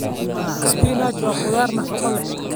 Spinach waa khudrad nafaqo leh.